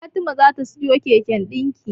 Fatima za ta siyo keken dinki.